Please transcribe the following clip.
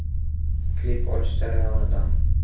Klip olish jarayonidan.